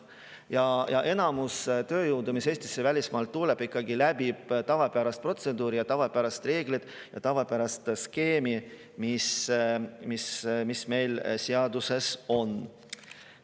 Enamus tööjõudu, mis Eestisse välismaalt tuleb, ikkagi läbib tavapärase protseduuri ja tavapärased reeglid ja tavapärase skeemi, mis meil seaduses on.